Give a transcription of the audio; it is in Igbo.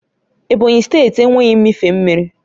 Ebonyi steeti enweghị mmịfe mmiri